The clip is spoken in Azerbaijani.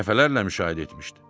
Dəfələrlə müşahidə etmişdi.